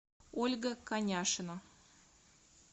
ольга коняшина